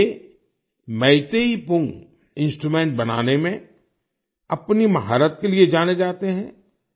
ये मैतेई पुंग इंस्ट्रूमेंट बनाने में अपनी महारत के लिए जाने जाते हैं